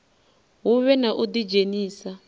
hu vhe na u ḓidzhenisa